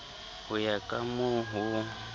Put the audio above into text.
ho ya ka moo ho